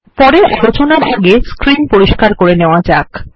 পরের আলোচনা আগে স্ক্রীন পরিস্কার করে নেওয়া যাক